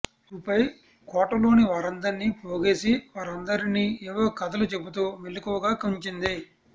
అటుపై కోటలోనివారందరినీ పోగేసి వారందరినీ ఏవో కథలు చెబుతూ మెలకువగా ఉంచింది